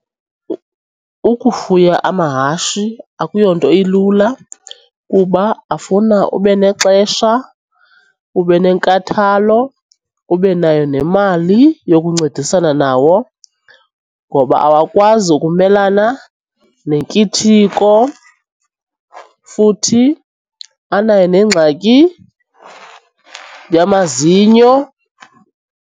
Ukufuya amahashi akuyonto ilula kuba afuna ube nexesha, ube nenkathalo, ube nayo nemali yokuncedisana nawo ngoba awakwazi ukumelana nenkithiko futhi anayo nengxaki yamazinyo.